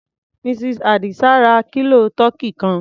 Mrs. Àdìsá ra kílò tọkí kan.